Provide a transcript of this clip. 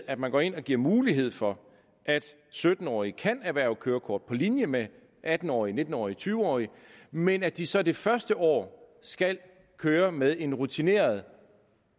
at man går ind og giver mulighed for at sytten årige kan erhverve kørekort på linje med atten årige nitten årige tyve årige men at de så det første år skal køre med en rutineret